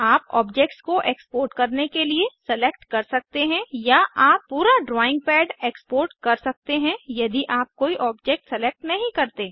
आप ऑब्जेक्ट्स को एक्सपोर्ट करने के लिए सेलेक्ट कर सकते हैं या आप पूरा ड्राइंग पैड एक्सपोर्ट कर सकते हैं यदि आप कोई ऑब्जेक्ट सेलेक्ट नहीं करते